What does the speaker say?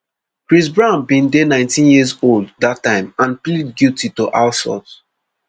chris brown bin dey nineteen years old dat time and plead guilty to assault